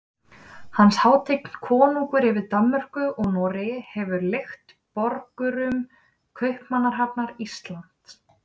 Hans hátign konungurinn yfir Danmörku og Noregi hefur leigt borgurum Kaupmannahafnar Ísland.